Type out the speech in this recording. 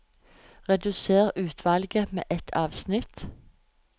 Redusér utvalget med ett avsnitt